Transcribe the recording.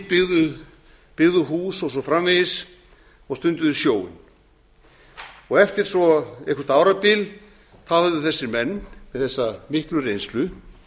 heimili byggðu hús og svo framvegis og stunduðu sjóinn eftir svo eitthvert árabil höfðu þessir menn með þessa miklu reynslu